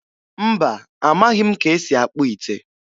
Mba, amaghị m ka esi akpụ ite.